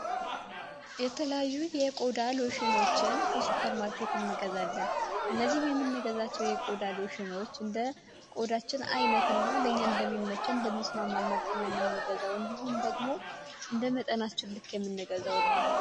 የተለያዩ የቆዳ ሎሽኖችን ከሱፐር ማርኬት እንገዛለን እነዚህም የሚነገዛቸው የቆዳልሽኖች እንደ ቆዳችን ዓይነት እና ለኛ እንደሚመቸ እንደሚስማማመርጥን የሚንገዛው እንዲሁም ደግሞ እንደመጠናስ ችልክ የሚነገዘው ነው፡፡